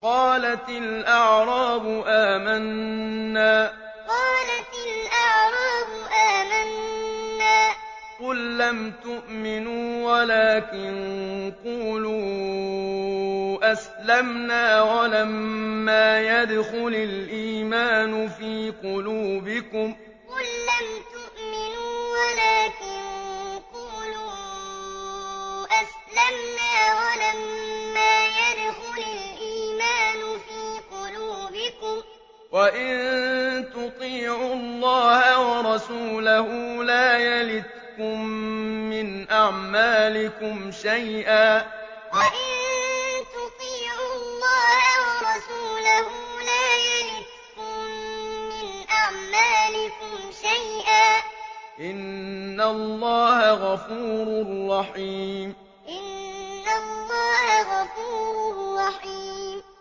۞ قَالَتِ الْأَعْرَابُ آمَنَّا ۖ قُل لَّمْ تُؤْمِنُوا وَلَٰكِن قُولُوا أَسْلَمْنَا وَلَمَّا يَدْخُلِ الْإِيمَانُ فِي قُلُوبِكُمْ ۖ وَإِن تُطِيعُوا اللَّهَ وَرَسُولَهُ لَا يَلِتْكُم مِّنْ أَعْمَالِكُمْ شَيْئًا ۚ إِنَّ اللَّهَ غَفُورٌ رَّحِيمٌ ۞ قَالَتِ الْأَعْرَابُ آمَنَّا ۖ قُل لَّمْ تُؤْمِنُوا وَلَٰكِن قُولُوا أَسْلَمْنَا وَلَمَّا يَدْخُلِ الْإِيمَانُ فِي قُلُوبِكُمْ ۖ وَإِن تُطِيعُوا اللَّهَ وَرَسُولَهُ لَا يَلِتْكُم مِّنْ أَعْمَالِكُمْ شَيْئًا ۚ إِنَّ اللَّهَ غَفُورٌ رَّحِيمٌ